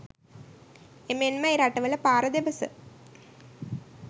එමෙන්ම ඒ රටවල පාර දෙපස